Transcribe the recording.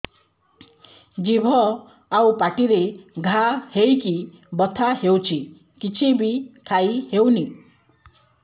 ଜିଭ ଆଉ ପାଟିରେ ଘା ହେଇକି ବଥା ହେଉଛି କିଛି ବି ଖାଇହଉନି